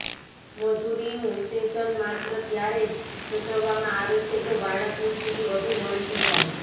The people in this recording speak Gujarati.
મજૂરીનું ઉત્તેજન માત્ર ત્યારે જ સૂચવવામાં આવે છે જો બાળકની સ્થિતિ વધુ વણસી જાય